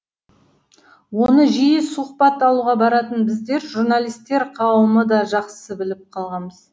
оны жиі сұхбат алуға баратын біздер журналистер қауымы да жақсы біліп қалғанбыз